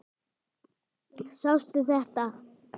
Sástu þetta?